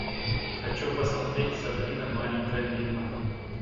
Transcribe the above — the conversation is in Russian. хочу посмотреть сабрина маленькая ведьма